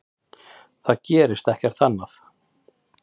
Það gerist ekkert annað.